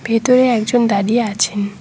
ভেতরে একজন দাঁড়িয়ে আছেন।